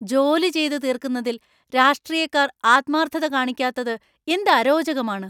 ജോലി ചെയ്തു തീർക്കുന്നതിൽ രാഷ്ട്രീയക്കാർ ആത്മാർഥത കാണിക്കാത്തത് എന്ത് അരോചകമാണ്.